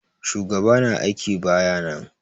Shugaɓa na aiƙi baƴa nan.